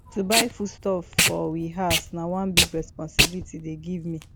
to buy foodstuff for we house na one big responsibility dem give me